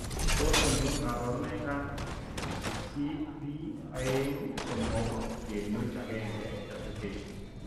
Tos achon kabarunaik ab 8p23.1 duplication ?